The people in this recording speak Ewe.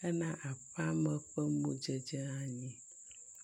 hena aƒeame ƒe modzedze anyi.